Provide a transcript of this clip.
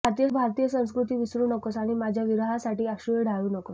तू भारतीय संस्कृती विसरू नकोस आणि माझ्या विरहासाठी अश्रूही ढाळू नकोस